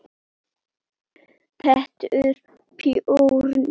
Pétur Björn.